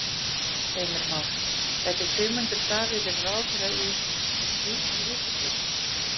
Heimir Már: Gæti Sigmundur Davíð verið ráðherra í, í slíkri ríkisstjórn?